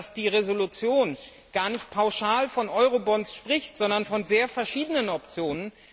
Und dass die Entschließung gar nicht pauschal von Eurobonds spricht, sondern von sehr verschiedenen Optionen?